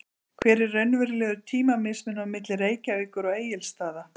Hver er raunverulegur tímamismunur á milli Reykjavíkur og Egilsstaða?